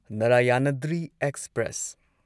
Narayanadri express